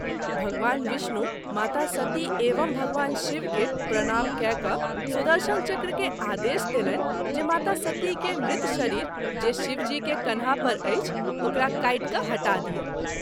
भगवान विष्णु माता सती एवं भगवान शिव के प्रणाम कए क’ सुदर्शन चक्र के आदेश देलनि जे माता सती के मृत शरीर जे शिव जी के कन्हा पर अछि ओकरा काटि क’ हटा दिअ।